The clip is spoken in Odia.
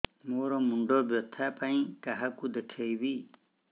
ମୋର ମୁଣ୍ଡ ବ୍ୟଥା ପାଇଁ କାହାକୁ ଦେଖେଇବି